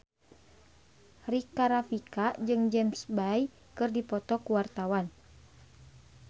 Rika Rafika jeung James Bay keur dipoto ku wartawan